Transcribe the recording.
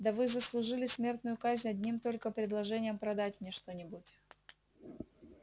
да вы заслужили смертную казнь одним только предложением продать мне что-нибудь